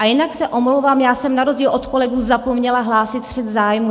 A jinak se omlouvám, já jsem na rozdíl od kolegů zapomněla hlásit střet zájmů.